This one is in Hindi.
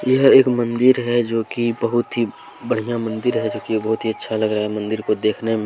यह एक मंदिर है जो कि बहुत ही बढ़िया मंदिर है जो कि बहुत ही अच्छा लग रहा है मंदिर को देखने में।